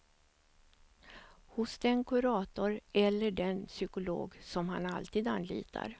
Hos den kurator eller den psykolog som han alltid anlitar.